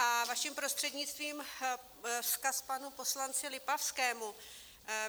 A vaším prostřednictvím vzkaz panu poslanci Lipavskému.